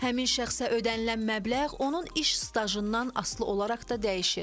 Həmin şəxsə ödənilən məbləğ onun iş stajından asılı olaraq da dəyişir.